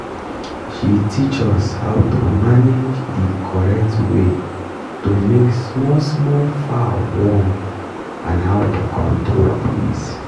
she teach us how to manage the correct way to make small small fowl warm and how to control breeze